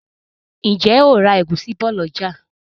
ǹjẹ́ o ma ra ẹ̀gúsí bọ̀ lọ̀jà?